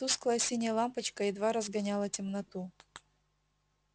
тусклая синяя лампочка едва разгоняла темноту